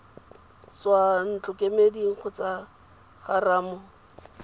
tswa ntlokemeding kgotsa go rammo